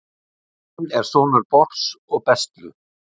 Óðinn er sonur Bors og Bestlu.